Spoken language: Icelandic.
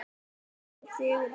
Páll Sigurðsson.